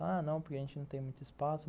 Ah, não, porque a gente não tem muito espaço.